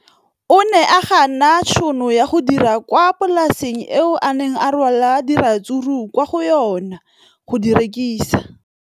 O ne a gana tšhono ya go dira kwa polaseng eo a neng rwala diratsuru kwa go yona go di rekisa.